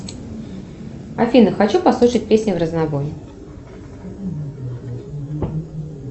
афина хочу послушать песни вразнобой